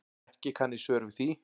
Ekki kann ég svör við því.